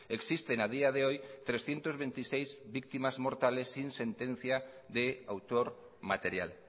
existen a día de hoy trescientos veintiséis víctimas mortales sin sentencia de autor material